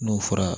N'o fɔra